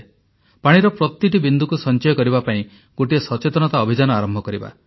ପାଣିର ପ୍ରତିଟି ବିନ୍ଦୁକୁ ସଞ୍ଚୟ କରିବା ପାଇଁ ଗୋଟିଏ ସଚେତନତା ଅଭିଯାନ ଆରମ୍ଭ କରିବା